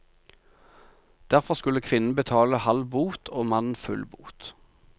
Derfor skulle kvinnen betale halv bot og mannen full bot.